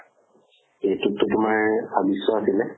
এইতোটো তোমাৰ ছাব্বিছ শ আছিলে।